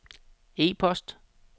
e-post